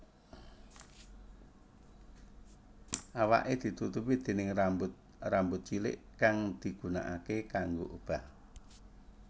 Awaké ditutupi déning rambut rambut cilik kang digunaake kanggo obah